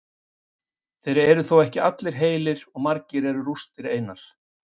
Þeir eru þó ekki allir heilir og margir eru rústir einar.